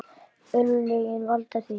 Örlögin valda því.